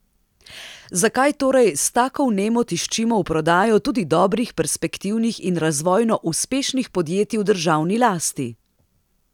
Zakaj torej s tako vnemo tiščimo v prodajo tudi dobrih, perspektivnih in razvojno uspešnih podjetij v državni lasti?